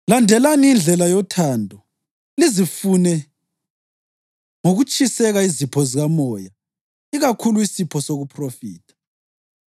Landelani indlela yothando lizifune ngokutshiseka izipho zikamoya ikakhulu isipho sokuphrofitha.